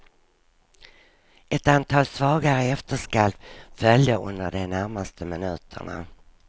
Ett antal svagare efterskalv följde under de närmaste minuterna.